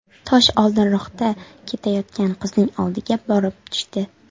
Tosh oldinroqda ketayotgan qizning oldiga borib tushdi.